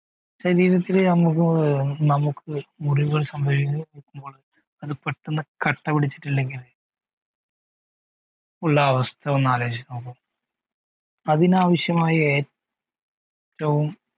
ശരീരത്തിൽ നമുക് മുറിവുകൾ സംഭിക്കുമ്പോൾ പെട്ടന്ന് കട്ട പിടിച്ചിട്ടില്ലെങ്കിൽ ഉള്ള ഒരു അവസ്ഥ ഒന്ന് ആലോചിച്ചു നോക്കു അതിനാവശ്യമായ ഏറ്റവും